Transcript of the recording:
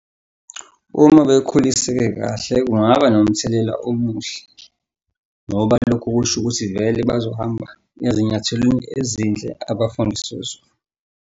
Uma bekhuliseke kahle kungaba nomthelela omuhle ngoba lokho kusho ukuthi vele bazohamba ezinyathelweni ezinhle abafundiswe zona.